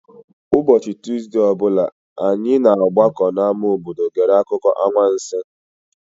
Ụbọchị Tuuzdee ọ bụla, anyị na-agbakọ n'ámá obodo gere akụkọ anwansi.